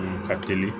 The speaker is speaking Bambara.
Ka teli